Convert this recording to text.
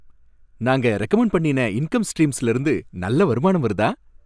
நாங்க ரெகமண்ட் பண்ணின இன்கம் ஸ்ட்ரீம்ஸ்ல இருந்து நல்ல வருமானம் வருதா?